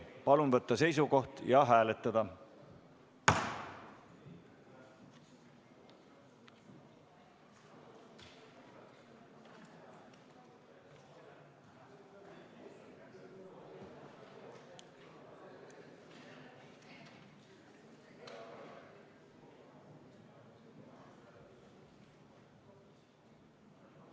Palun võtta seisukoht ja hääletada!